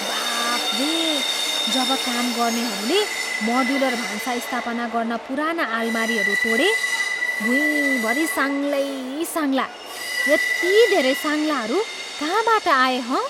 बाफरे! जब काम गर्नेहरूले मोड्युलर भान्सा स्थापना गर्न पुराना आलमारीहरू तोडे, भुँइभरि साङ्गलै साङ्गला! यति धेरै साङ्गलाहरू कहाँबाट आए हँ?